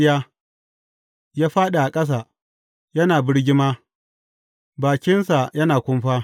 Ya fāɗi a ƙasa, yana birgima, bakinsa yana kumfa.